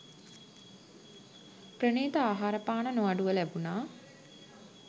ප්‍රණීත ආහාරපාන නොඅඩුව ලැබුණා.